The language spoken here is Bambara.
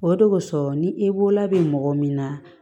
O de kosɔn ni e bolola bɛ mɔgɔ min na